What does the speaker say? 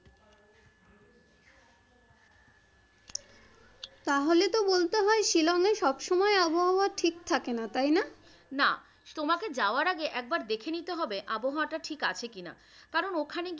তাহলে তো বলতে হয় শিলংয়ে সব সময় আবহাওয়া ঠিক থাকে না তাই না? না, তোমাকে যাওয়ার আগে একবার দেখে নিতে হবে আবহাওয়াটা ঠিক আছে কিনা কারণ ওখানে গিয়ে,